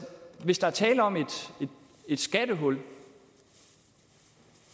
hvis der er tale om et skattehul